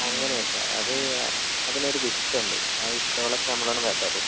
അങ്ങനേണ് അത് അതിനൊരു വിത്തുണ്ട് ആ വിത്താളൊക്കെ നമ്മള് വെതറും.